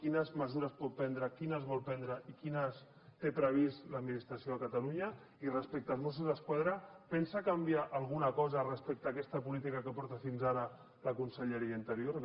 quines mesures pot prendre quines vol prendre i quines té previstes l’administració de catalunya i respecte als mossos d’esquadra pensa canviar alguna cosa respecte a aquesta política que porta fins ara la conselleria d’interior gràcies